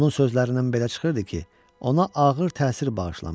Onun sözlərindən belə çıxırdı ki, ona ağır təsir bağışlamışam.